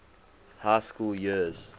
high school years